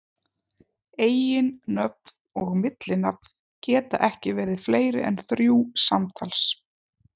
Eiginnöfn og millinafn geta ekki verið fleiri en þrjú samtals.